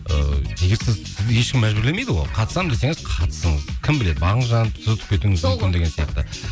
ы егер сізді ешкім мәжбүрлемейді ғой қатысамын десеңіз қатысыңыз кім біледі бағыңыз жанып сіз ұтып кетуіңіз мүмкін деген сияқты